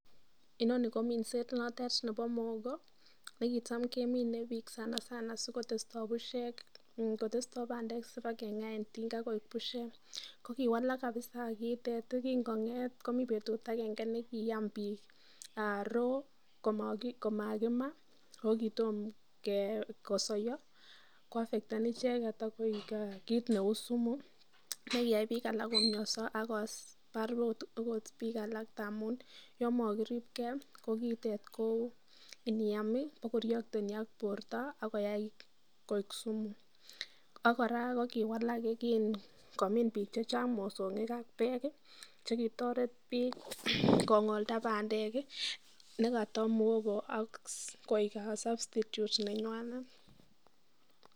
Inoni ko minset noton nebo mokoo ne kitam kemine biik sanasana si koyesto busiek kotesto bandek si bakenga en tinga koek busiek ,ko kiwalak kabisa kiitet ye kinkongeet komii betut akeng'e be kiam biik [raw] komakima ako kitom kosoiyo ko affecten icheket ak koik kit neuu sumu ne kiyai biik alak komionso ak kobar akot biik alak amun yon makiribkee ko kiitet ko Inam bakoreakteni ak borto ak koyai koik sumu ,ak kora ko kiwalak kinkomin biik alak mosong'ik ak bek che kitoret biik kongolda bandek ne koto mogo ak koik a [substitute] nenywanet.